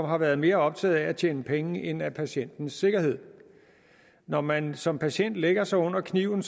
har været mere optaget af at tjene penge end af patientens sikkerhed når man som patient lægger sig under kniven